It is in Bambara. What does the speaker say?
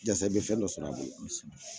Jasa i bɛ fɛn dɔ sɔrɔ a bolo